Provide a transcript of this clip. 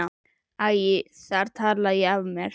Æ, þar talaði ég af mér!